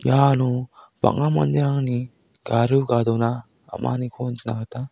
iano bang·a manderangni gario gadona am·aniko nikna gita--